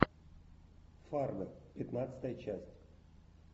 фарго пятнадцатая часть